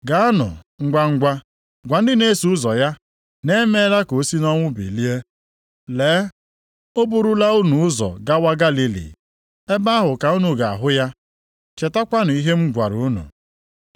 Gaanụ ngwangwa gwa ndị na-eso ụzọ ya na e meela ka o si nʼọnwụ bilie. Lee, o burula unu ụzọ gawa Galili. Ebe ahụ ka unu ga-ahụ ya. Chetakwanụ ihe m gwara unu.”